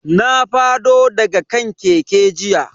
Na fado daga kan keke jiya.